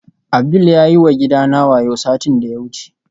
Abdul yayi wa gidana wayo satin da ya wuce